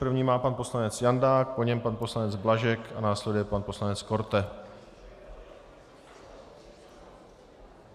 První má pan poslanec Jandák, po něm pan poslanec Blažek a následuje pan poslanec Korte.